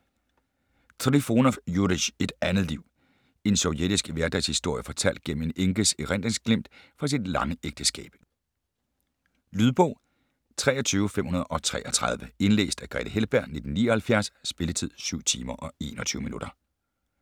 Trifonov, Jurij: Et andet liv En sovjetisk hverdagshistorie fortalt gennem en enkes erindringsglimt fra sit lange ægteskab. Lydbog 23533 Indlæst af Grethe Heltberg, 1979. Spilletid: 7 timer, 21 minutter.